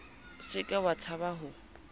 se ke wa tshaba ho